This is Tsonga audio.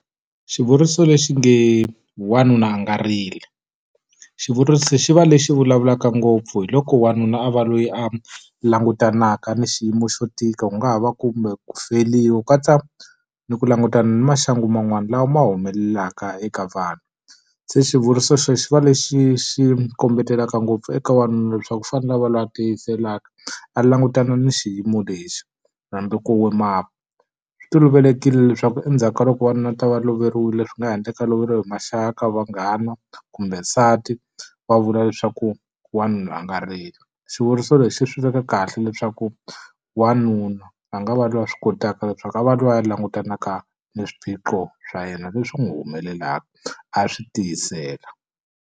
Xivuriso lexi nge wanuna a nga rili. Xivuriso xi va lexi vulavulaka ngopfu hi loko wanuna a va loyi a langutanaka ni xiyimo xo tika, ku nga ha va kumbe ku feriwa ku katsa ni ku langutana ni maxangu man'wana lawa ma humelelaka eka vanhu. Se xivuriso xexi xi va lexi xi kombetelaka ngopfu eka wanuna leswaku u fanele a va loyi a tiyiselaka, a langutana na xiyimo lexi hambi ku . Swi tolovelekile leswaku endzhaku ka loko wanuna a va ta va loveriwile, swi nga ha endleka loveriwe hi maxaka, vanghana, kumbe nsati, va vula leswaku wanuna a nga rili. Xivuriso lexi swi veka kahle leswaku wanuna a nga va loyi a swi kotaka leswaku a va loyi a langutanaka ni swiphiqo swa yena leswi a n'wi humelelaka, a swi tiyisela.